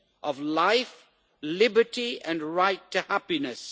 of life, liberty and the right to happiness.